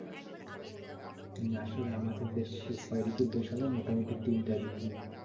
কিন্তু আসলে আমাদের দেশ ছয় ঋতুর দেশ হলেও মোটামুটি তিনটা ঋতু